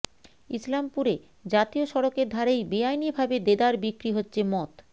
ইসলামপুরে জাতীয় সড়কের ধারেই বেআইনিভাবে দেদার বিক্রি হচ্ছে মদ